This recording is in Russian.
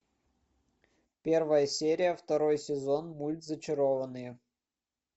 первая серия второй сезон мульт зачарованные